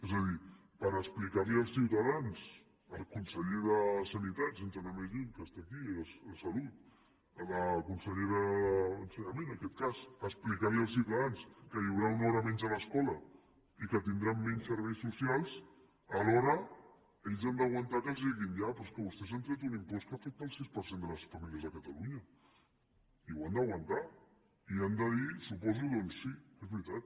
és a dir per explicar als ciutadans el conseller de sanitat sense anar més lluny que està aquí de salut la consellera d’ensenyament en aquest cas explicar als ciutadans que hi haurà una hora menys a l’escola i que tindran menys serveis socials alhora ells han d’aguantar que els diguin ja però és que vostès han tret un impost que afecta el sis per cent de les famílies de catalunya i ho han d’aguantar i han de dir suposo doncs sí és veritat